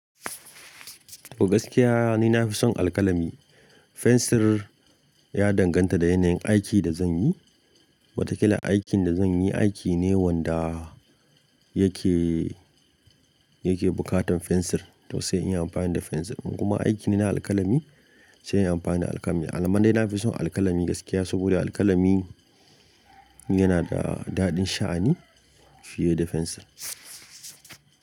Gaskiya ni nafi son alkalami. Fensir ya danganta da yanayin aikin da zan yi. Watakila aikin da zan yi aiki ne wanda yake, yake bukatan fensir, to sai in yi amfani da fensir. In kuma aiki ne alkalami sai in yi amfani da alkalami. Alama dai nafi son alkalami gaskiya saboda alkalami yana da daɗin sha'ani fiye da fensir.